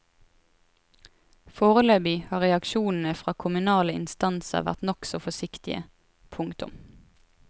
Foreløpig har reaksjonene fra kommunale instanser vært nokså forsiktige. punktum